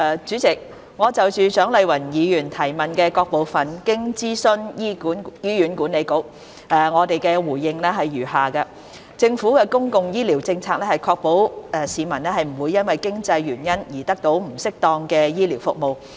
主席，就蔣麗芸議員質詢的各部分，經諮詢醫院管理局，我的答覆如下：政府的公共醫療政策是確保市民不會因經濟原因而得不到適當的醫療服務。